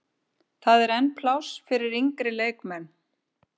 Það er enn pláss fyrir yngri leikmenn.